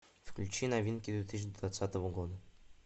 включи новинки две тысячи двадцатого года